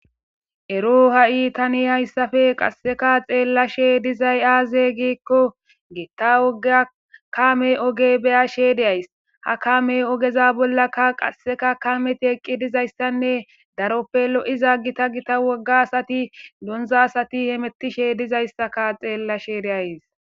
Ero ha'i tani hayssafe qasseka xeellashe dizay aaze giikko gitta gekame oge beya she deyays ha kame ogeza bollakka qasseka kameti eqqi dizayssanne daroppe lo'iza gita gita wogga asati donza asati hemetishe dizayssaka xeellashe deays.